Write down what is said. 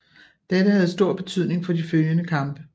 Dette havde stor betydning for de følgende kampe